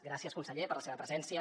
gràcies conseller per la seva presència